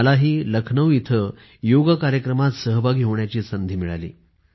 मलाही लखनौ इथं योग कार्यक्रमात सहभागी होण्याची संधी मिळाली